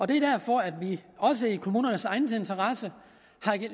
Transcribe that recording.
det er derfor at vi også i kommunernes egen interesse